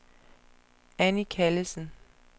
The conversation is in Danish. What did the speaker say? Anni Callesen